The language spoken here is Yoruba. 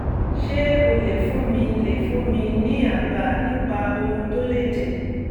ṣé o lè fún mi lè fún mi ní àbá nípa ohun tó lè jẹ́?